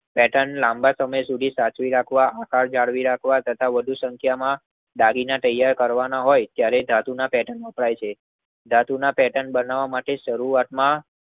આ પેર્ટન લાંબા સમય સુધી સાચવી રાખવા આકાર જાળવી રાખવા તથા વધુ સંખ્યા માં દાગીના તૈયાર કરવાના હોય ધાતુના પેર્ટન વપરાય છે. ધાતુના પેર્ટન બનાવ માટે સરુવાત માં